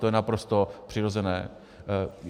To je naprosto přirozené.